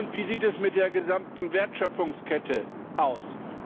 Wie sieht es mit der gesamten Wertschöpfungskette aus?